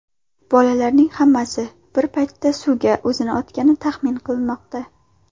Bolalarning hammasi bir paytda suvga o‘zini otgani taxmin qilinmoqda.